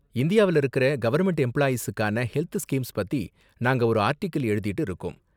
இந்தியாவுல இருக்குற கவர்ன்மெண்ட் எம்பிளாயீஸுக்கான ஹெல்த் ஸ்கீம்ஸ் பத்தி நாங்க ஒரு ஆர்டிகில் எழுதிட்டு இருக்கோம்.